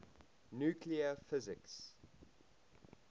nuclear physics